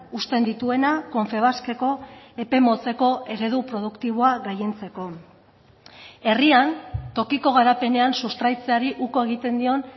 uzten dituena confebaskeko epe motzeko eredu produktiboa gailentzeko herrian tokiko garapenean sustraitzeari uko egiten dion